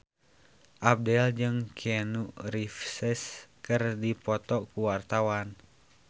Abdel jeung Keanu Reeves keur dipoto ku wartawan